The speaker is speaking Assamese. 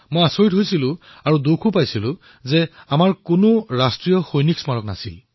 ভাৰতত কোনো ৰাষ্ট্ৰীয় সৈনিক স্মাৰক নথকাত মই আচৰিত হোৱাৰ লগতো দুখো পাইছিলো